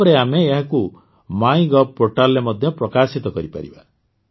ତାପରେ ଆମେ ଏହାକୁ ମାଇ ଗୋଭ୍ Portalରେ ପ୍ରକାଶିତ କରିପାରିବା